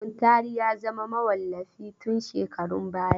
Muntari ya zama mawallafi tun shekarun baya.